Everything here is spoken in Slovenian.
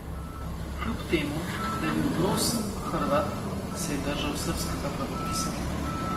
Kljub temu, da je bil Broz Hrvat, se je držal srbskega pravopisa.